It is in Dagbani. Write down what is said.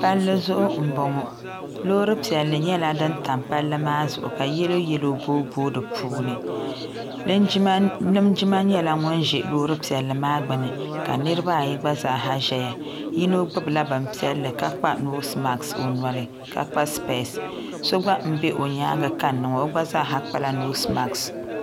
Palli zuɣu m boŋɔ loori piɛlli nyɛla din tam palli maa zuɣu ka yeloyelo booboogi dipuuni linjima nyɛla ŋun ʒɛ loori piɛlli maa gbini ka niriba ayi gba zaa nyɛ ban ʒia yino gbibi la bini piɛlli ka kpa noosi maasi ka kpa sipesi so gba m be o nyaanga kanna ŋɔ o gna zaa ha kpala noosi maasi.